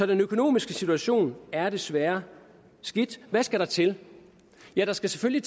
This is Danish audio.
den økonomiske situation er desværre skidt hvad skal der til der skal selvfølgelig